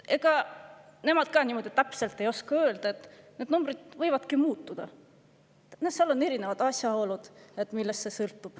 Ega nemad ka täpselt ei oska öelda, need numbrid võivadki muutuda, ja seal on erinevad asjaolud, millest see sõltub.